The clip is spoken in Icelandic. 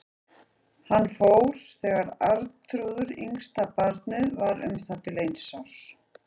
Hann fór þegar Arnþrúður, yngsta barnið, var um það bil eins árs.